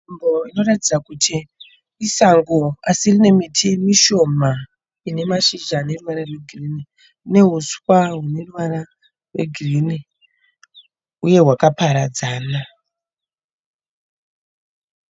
Nzvimbo inoratidza kuti isango asi rine miti mishoma inemashizha aneruvara rwegirini nehuswa runeruvara rwegirini uye rwakaparadzana.